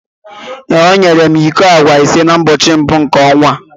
ee, ọ nyere m iko agwa ise n’ụbọchị mbụ nke ọnwa a